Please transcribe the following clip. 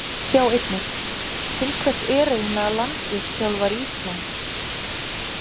Sjá einnig: Til hvers er eiginlega landsliðsþjálfari Íslands?